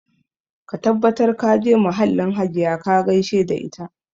Ka tabbatar ka je mahallin Hajiya ka gaishe da ita